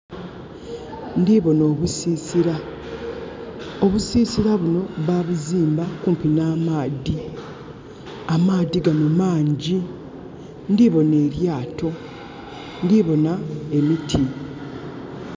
Ndiboona obusisira. Obusisira buno babuzimba kumpi namaadhi. Amaadhi gano mangi. Ndibona elyaato, ndibona emiti